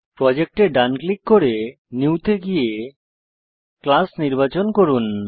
project এ ডান click করে নিউ তে গিয়ে ক্লাস নির্বাচন করুন